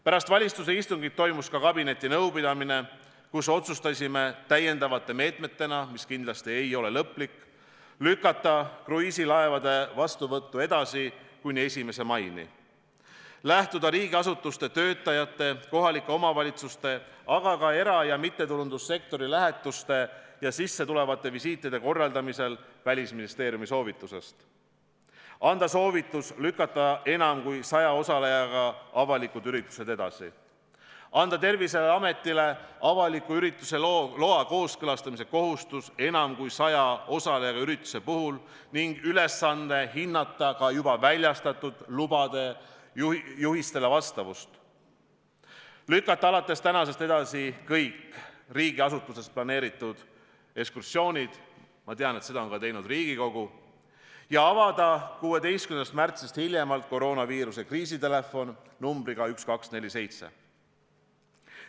Pärast valitsuse istungit toimus ka kabinetinõupidamine, kus otsustasime täiendavate meetmetena, mis kindlasti ei ole lõplikud, lükata kruiisilaevade vastuvõttu edasi kuni 1. maini, lähtuda riigiasutuste töötajate, kohalike omavalitsuste, aga ka era- ja mittetulundussektori lähetuste ja sissetulevate visiitide korraldamisel Välisministeeriumi soovitusest, anda soovitus lükata enam kui 100 osalejaga avalikud üritused edasi, anda Terviseametile avaliku ürituse loa kooskõlastamise kohustus enam kui 100 osalejaga ürituse puhul ning ülesanne hinnata ka juba väljastatud lubade juhistele vastavust, lükata alates tänasest edasi kõik riigiasutustes planeeritud ekskursioonid – ma tean, et seda on teinud ka Riigikogu – ja avada hiljemalt 16. märtsil koroonaviiruse kriisitelefon numbriga 1247.